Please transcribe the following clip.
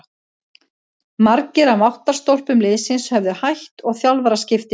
Margir af máttarstólpum liðsins höfðu hætt og þjálfaraskipti urðu.